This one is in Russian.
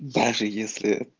даже если